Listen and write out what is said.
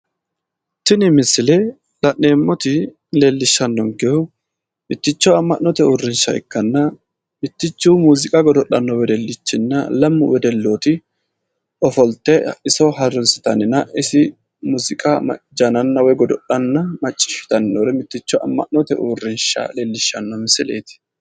Tini misile laa'neemmoti leellishshannonkehu mitticho amma'note uurrinsha ikkanna mittichu muuziiqa godo'lanno wedelichinna lamu wedellooti ofolte iso harunsitanninna isi muuziqa jananna woyi godo'lanna macciishshitanni noore mitticho ama'note uurinsha leellishshanno misileeti.